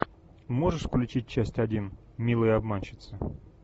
можешь включить часть один милые обманщицы